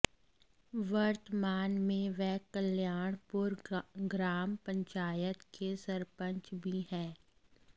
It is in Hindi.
वर्तमान में वे कल्याणपुर ग्राम पंचायत के सरपंच भी हैं